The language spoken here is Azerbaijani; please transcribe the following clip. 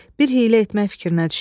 Bir hiylə etmək fikrinə düşdü.